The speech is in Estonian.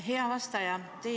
Hea vastaja!